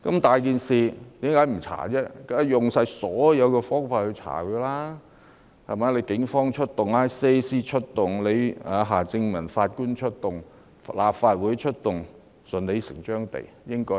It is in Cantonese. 大家當然要用盡所有方法調查，出動警方、ICAC、夏正民法官和立法會，也是順理成章的事。